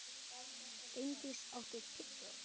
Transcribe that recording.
Reyndís, áttu tyggjó?